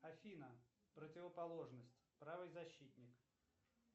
афина противоположность правый защитник